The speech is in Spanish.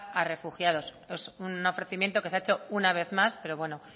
a refugiados es un ofrecimiento que se ha hecho un vez más pero bueno